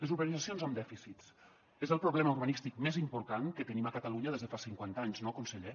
les urbanitzacions amb dèficits són el problema urbanístic més important que tenim a catalunya des de fa cinquanta anys no conseller